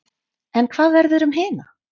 En hvað verður um hina?